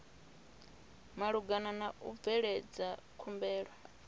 malugana na u bveledza khumbelo